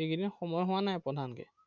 এইকেইদিন সময় হোৱা নাই প্ৰধানকে